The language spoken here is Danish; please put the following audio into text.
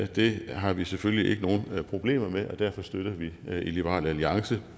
det har vi selvfølgelig ikke nogen problemer med og derfor støtter vi i liberal alliance